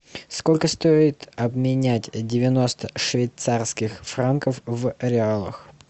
сколько стоит обменять девяносто швейцарских франков в реалах